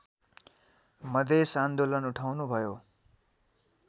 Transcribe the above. मधेस आन्दोलन उठाउनुभयो